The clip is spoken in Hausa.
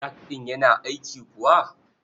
Jak ɗin yana aiki kuwa?